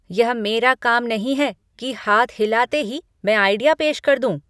यह मेरा काम नहीं है कि हाथ हिलाते ही मैं आइडिया पेश कर दूं।